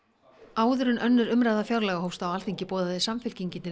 áður en önnur umræða fjárlaga hófst á Alþingi boðaði Samfylkingin til